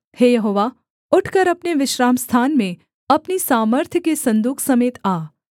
हे यहोवा उठकर अपने विश्रामस्थान में अपनी सामर्थ्य के सन्दूक समेत आ